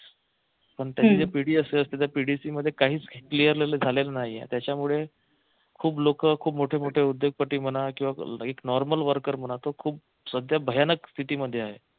पण त्यांची जी pdc असते त्या pdc मध्ये काहीच clear झालेलं नाहीये त्याच्यामुळे खूप लोक खूप मोठे मोठे उद्योगपती म्हणा किंवा normal worker म्हणा तो खूप सध्या भयानक स्थितीमध्ये आहे.